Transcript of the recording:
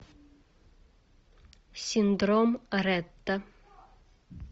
синдром ретта